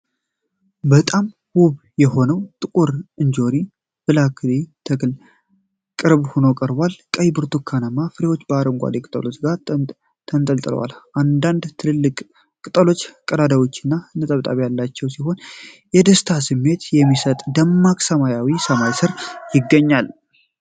በጣም ውብ የሆነው የጥቁር እንጆሪ (ብላክበሪ) ተክል ቅርብ ሆኖ ቀርቧል። ቀይና ብርቱካናማ ፍሬዎች ከአረንጓዴ ቅጠሎች ጋር ተንጠልጥለዋል። አንዳንድ ትልልቅ ቅጠሎች ቀዳዳዎች እና ነጠብጣብ ያላቸው ሲሆን፣ የደስታ ስሜት በሚሰጥ ደማቅ ሰማያዊ ሰማይ ስር ይገኛሉ።